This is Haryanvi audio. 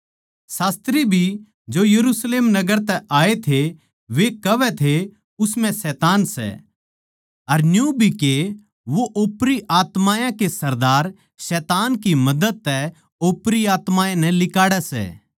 शास्त्री भी जो यरुशलेम नगर तै आये थे वे कहवै थे उस म्ह शैतान सै अर न्यू भी के वो ओपरी आत्मायाँ के सरदार शैतान की मदद तै ओपरी आत्मायाँ नै लिकाड़ै सै